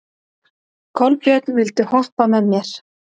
Kolbjörn, viltu hoppa með mér?